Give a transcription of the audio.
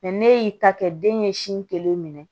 ne y'i ta kɛ den ye sin kelen minɛ